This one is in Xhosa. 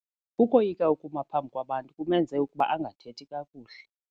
Ukoyika ukuma phambi kwabantu kumenze ukuba angathethi kakuhle.